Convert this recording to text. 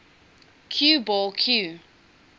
cue ball cue